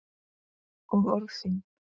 Og orð þín.